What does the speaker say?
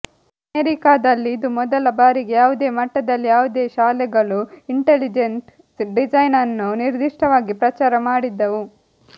ಅಮೆರಿಕಾದಲ್ಲಿ ಇದು ಮೊದಲ ಬಾರಿಗೆ ಯಾವುದೇ ಮಟ್ಟದಲ್ಲಿ ಯಾವುದೇ ಶಾಲೆಗಳು ಇಂಟೆಲಿಜೆಂಟ್ ಡಿಸೈನ್ ಅನ್ನು ನಿರ್ದಿಷ್ಟವಾಗಿ ಪ್ರಚಾರ ಮಾಡಿದ್ದವು